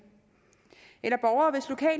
eller borgere